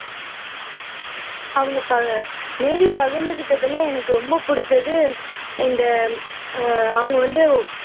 அவங்க மேரி பகிர்ந்துகிட்டதுல எனக்கு ரொம்ப பிடிச்சது இந்த அஹ் அவங்க வந்து